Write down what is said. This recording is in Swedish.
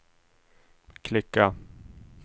klicka